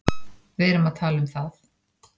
Við erum að tala um það!